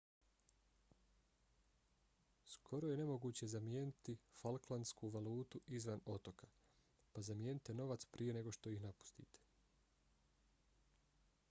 skoro je nemoguće zamijeniti falklandsku valutu izvan otoka pa zamijenite novac prije nego što ih napustite